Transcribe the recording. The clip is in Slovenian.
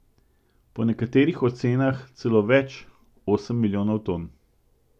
Po nekaterih ocenah celo več, osem milijonov ton.